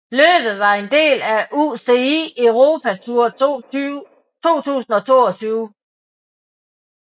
Løbet var en del af af UCI Europe Tour 2022